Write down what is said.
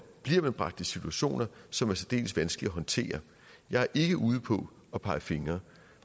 bragt i situationer som er særdeles vanskelige at håndtere jeg er ikke ude på at pege fingre